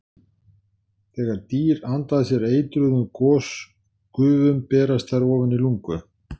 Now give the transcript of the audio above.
Þegar dýr anda að sér eitruðum gosgufum berast þær ofan í lungu.